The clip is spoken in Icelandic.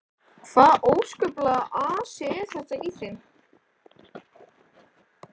Hvaða óskaplegur asi er þetta á þeim.